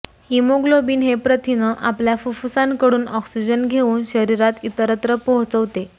haemoglobin हे प्रथिन आपल्या फुप्फुसांकडून ऑक्सिजन घेऊन शरीरात इतरत्र पोहोचवते